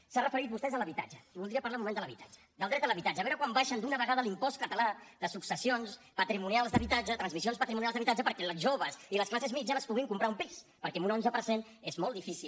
s’han referit vostès a l’habitatge i voldria parlar un moment de l’habitatge del dret a l’habitatge a veure quan baixen d’una vegada l’impost català de successions patrimonials d’habitatge de transmissions patrimonials d’habitatge perquè els joves i les classes mitjanes es puguin comprar un pis perquè amb un onze per cent és molt difícil